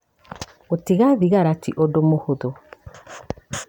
Gũtiga thigara ti ũndũ mũhũthũ.